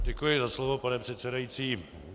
Děkuji za slovo, pane předsedající.